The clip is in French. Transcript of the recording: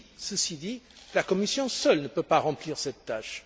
Ceci dit, la Commission seule ne peut pas remplir cette tâche.